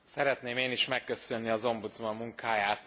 Szeretném én is megköszönni az ombudsman munkáját.